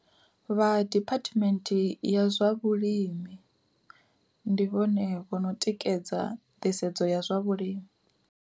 Vha Department ya zwa vhulimi, ndi vhone vho no tikedza nḓisedzo ya zwa vhulimi.